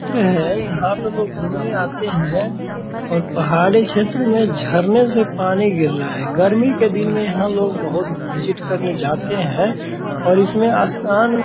चित्र है यहां पर लोग घूमने आते हैं और पहाड़ी क्षेत्र में झरने से पानी गिर रहे हैं गर्मी के दिन में लोग यहां बहुत विजिट करने जाते हैं और इसमें स्नान --